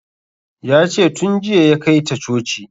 Ya ce tun jiya ya kai ta coci